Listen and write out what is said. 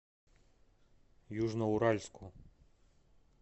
южноуральску